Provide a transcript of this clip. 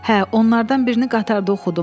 “Hə, onlardan birini qatarda oxudum.